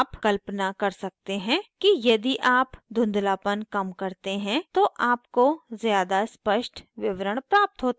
आप कल्पना कर सकते हैं कि यदि आप धुँधलापन कम करते हैं तो आपको ज़्यादा स्पष्ट विवरण प्राप्त होता है